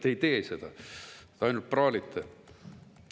Te ei tee seda, te ainult praalite.